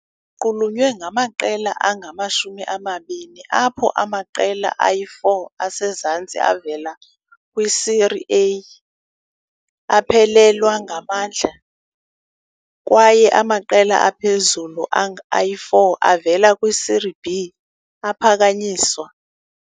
Iqulunqwe ngamaqela angama-20, apho amaqela angama-4 asezantsi avela kwi-Série A aphelelwa ngamandla kwaye amaqela aphezulu ayi-4 avela kwi-Serie B aphakanyiswa.